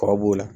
Kɔrɔ b'o la